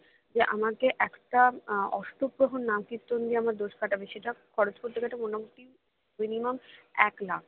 যে আমাকে একটা আহ অষ্টপ্রহর নামকীর্তন দিয়ে আমার দোষ কাটাবে সেটা খরচ করতে মোটামোটি minimum এক লাখ